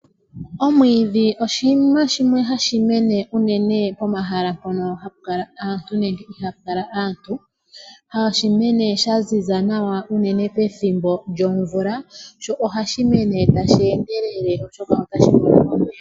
Omwiidhi oshinima shimwe hashi mene unene pomahala mpono hapu kala aantu nenge ihaapu kala aantu, hashi mene sha ziza nawa unene pethimbo lyomvula sho ohashi mene tashi endelele oshoka otashi mono omeya.